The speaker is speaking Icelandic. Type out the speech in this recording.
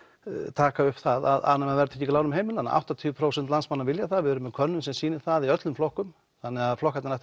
taka upp að afnema verðtryggingu í lánum heimilanna áttatíu prósent landsmanna vilja það og við erum með könnun sem sýnir það í öllum flokkum þannig að flokkarnir ættu